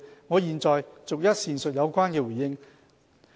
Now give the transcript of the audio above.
我現在逐一闡述有關回應。